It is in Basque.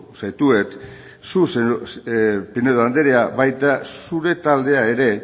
zaituztet zu pinedo andrea baita zure taldea ere